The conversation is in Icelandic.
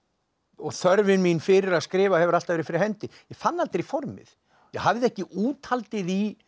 þörfin mín fyrir að skrifa hefur alltaf verið fyrir hendi ég fann aldrei formið ég hafði ekki úthaldið í